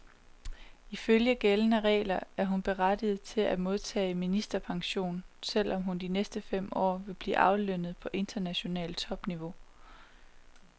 Ifølge gældende regler er hun berettiget til at modtage ministerpension, selv om hun de næste fem år vil blive aflønnet på internationalt topniveau.